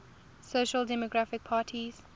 social democratic parties